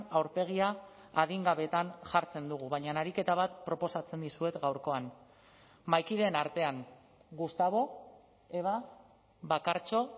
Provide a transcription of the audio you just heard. aurpegia adin gabeetan jartzen dugu baina ariketa bat proposatzen dizuet gaurkoan mahaikideen artean gustavo eba bakartxo